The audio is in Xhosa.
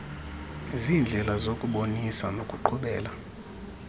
ziindlela zokubonisa nokuqhubela